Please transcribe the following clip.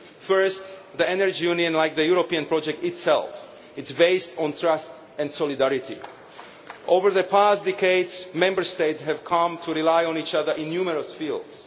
First, the Energy Union, like the European project itself, is based on trust and solidarity. Over the past decades, Member States have come to rely on each other in numerous fields.